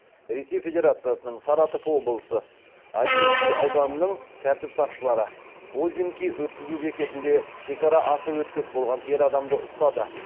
ресей федерациясының саратов облысы озинский ауданының тәртіп сақшылары озинки өткізу бекетінде шекара асып өтпек болған ер адамды ұстады